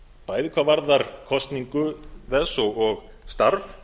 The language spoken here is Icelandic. bæði hvað varðar kosningu þess og starf